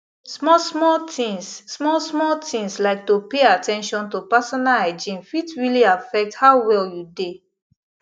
small small things small small things like to pay at ten tion to personal hygiene fit really affect how well you dey